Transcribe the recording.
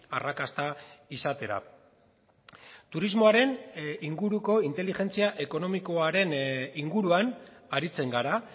arrakasta izatera turismoaren inguruko inteligentzia ekonomikoaren inguruan aritzen gara